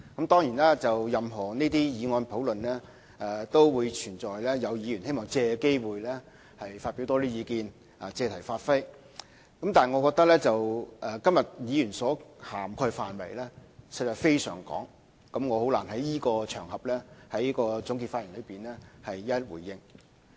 當然，任何這些議案的討論都會出現有議員希望藉此機會發表意見，借題發揮，但我覺得今天議員所涵蓋的範圍實在非常廣泛，我難以在這場合的這次總結發言內一一回應。